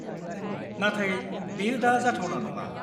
नाथाय बेयो दा जाथावना नङा।